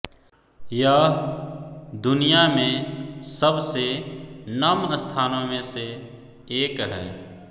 यह दुनिया में सबसे नम स्थानों में से एक है